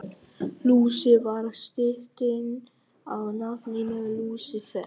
Lúsi var stytting á nafninu Lúsífer.